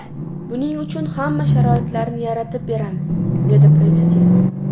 Buning uchun hamma sharoitlarni yaratib beramiz”, – dedi Prezident.